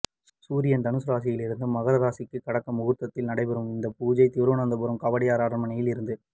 சூரியன் தனுசு ராசியில் இருந்து மகர ராசியில் கடக்கும் முகூர்த்தத்தில் நடைபெறும் இந்த பூஜையில் திருவனந்தபுரம் கவடியார் அரண்மனையில் இருந்து